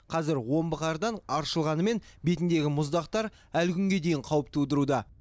қазір омбы қардан аршылғанымен бетіндегі мұздақтар әлі күнге дейін қауіп тудыруда